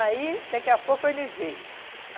Aí, daqui a pouco, ele veio.